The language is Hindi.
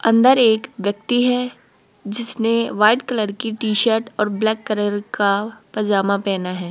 अंदर एक व्यक्ति है जिसने व्हाइट कलर की टी शर्ट और ब्लैक कलर का पजामा पहना है।